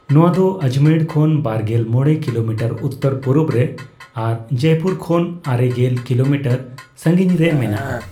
ᱱᱚᱣᱟ ᱫᱚ ᱟᱡᱽᱢᱮᱲ ᱠᱷᱚᱱ ᱵᱟᱨᱜᱮᱞ ᱢᱚᱲᱮ ᱠᱤᱞᱚᱢᱤᱴᱟᱨ ᱩᱛᱛᱚᱨ ᱯᱩᱨᱩᱵᱽᱨᱮ ᱟᱨ ᱡᱚᱭᱯᱩᱨ ᱠᱷᱚᱱ ᱟᱨᱮᱜᱮᱞ ᱠᱤᱞᱚᱢᱤᱴᱟᱨ ᱥᱟᱹᱜᱤᱧᱨᱮ ᱢᱮᱱᱟᱜᱼᱟ ᱾